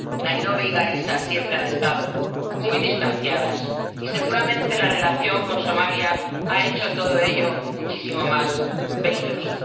Nairobi y Garissa siempre han estado muy distanciadas y seguramente la relación con Somalia ha hecho todo ello muchísimo más peligroso.